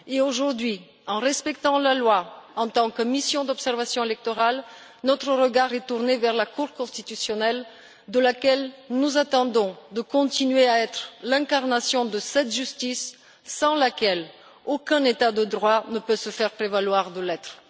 Aujourd'hui, en respectant la loi, en tant que mission d'observation électorale, notre regard est tourné vers la Cour constitutionnelle, de laquelle nous attendons qu'elle continue à être l'incarnation de cette justice sans laquelle aucun État de droit ne peut se prévaloir de l'être.